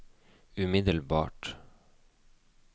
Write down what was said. umiddelbart